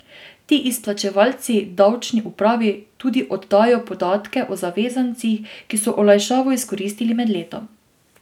Ti izplačevalci davčni upravi tudi oddajo podatke o zavezancih, ki so olajšavo izkoristili med letom.